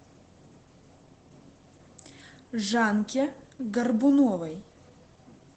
жанке горбуновой